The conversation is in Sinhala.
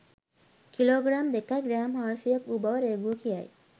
කිලෝග්‍රෑම් දෙකයි ග්‍රෑම් හාරසීයක් වු බව රේගුව කියයි